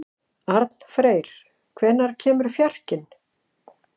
Arnfreyr, hvenær kemur fjarkinn?